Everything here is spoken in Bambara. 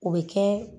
O bɛ kɛ